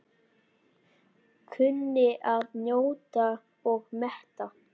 Kunni að njóta og meta.